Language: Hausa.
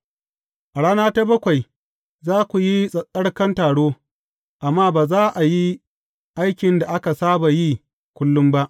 A rana ta bakwai, za ku yi tsattsarkan taro, amma ba za a yi aikin da aka saba yi kullum ba.